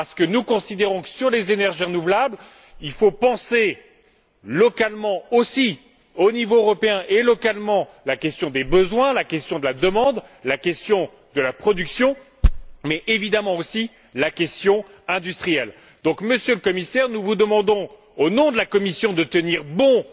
Nous considérons en effet que, pour les énergies renouvelables, il faut penser localement, au niveau européen également il faut envisager localement la question des besoins, la question de la demande, la question de la production mais évidemment aussi, la question industrielle. Monsieur le Commissaire, nous vous demandons de tenir bon, au nom de la Commission, dans